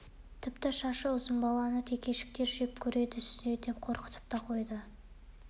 тіпті шашы ұзын баланы текешіктер жек көреді сүзеді деп қорқытып та қойды